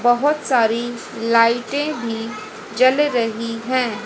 बहोत सारी लाइटे भी जल रही है।